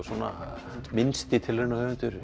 minnsti